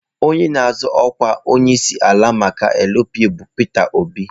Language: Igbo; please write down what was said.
Onye na-azọ ọkwa onyeisiala maka LP bụ Peter Obi.